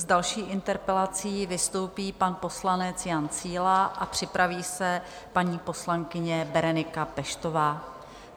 S další interpelací vystoupí pan poslanec Jan Síla a připraví se paní poslankyně Berenika Peštová.